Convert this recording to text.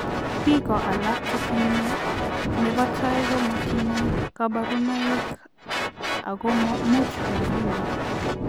Biko alak che tinye nebo tai ko matinye kabarunoik ako much makinya.